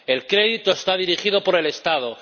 El crédito está dirigido por el Estado.